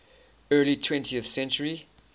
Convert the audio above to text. early twentieth century